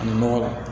Nɔgɔ la